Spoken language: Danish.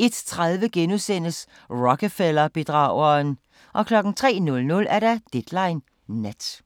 01:30: Rockefeller-bedrageren * 03:00: Deadline Nat